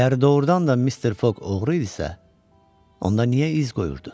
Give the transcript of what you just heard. Əgər doğrudan da Mister Foq oğru idisə, onda niyə iz qoyurdu?